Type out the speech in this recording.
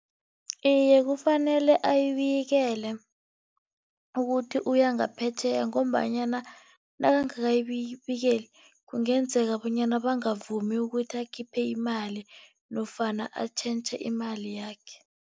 Iye, kufanele ayibikele ukuthi uyangaphetjheya ngombanyana nakangakayibikeli, kungenzeka bonyana bangavumi ukuthi akhiphe imali nofana atjhentjhe imali yakhe.